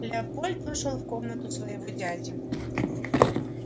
леопольд вошёл в комнату своего дяди